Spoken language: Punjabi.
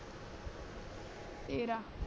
ਤੇਰਾ